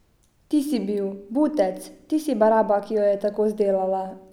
Ti si bil, butec, ti si baraba, ki jo je tako zdelala.